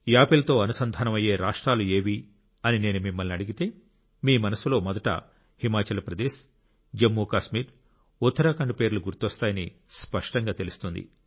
Apple తో అనుసంధానం అయ్యే రాష్ట్రాలు ఏవి అని నేను మిమ్మల్ని అడిగితే మీ మనస్సులో మొదట హిమాచల్ ప్రదేశ్ జమ్మూ కాశ్మీర్ ఉత్తరాఖండ్ పేర్లు గుర్తొస్తాయని స్పష్టంగా తెలుస్తుంది